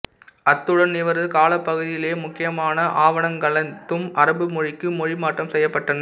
அத்துடன் இவரது காலப்பகுதியிலே முக்கியமான ஆவணங்களனைத்தும் அரபு மொழிக்கு மொழிமாற்றம் செய்யப்பட்டன